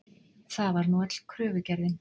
Það var nú öll kröfugerðin.